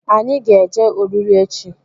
Anyị ga-eje ọriri echi